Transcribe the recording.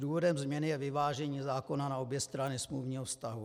Důvodem změny je vyvážení zákona na obě strany smluvního vztahu.